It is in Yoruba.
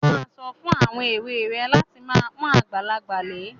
Má a sọ fún àwọn èwe rẹ láti máa pọ́n àgbàlagbà lé.